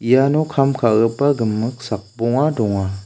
iano kam ka·gipa gimik sakbonga donga.